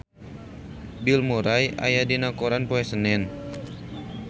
Bill Murray aya dina koran poe Senen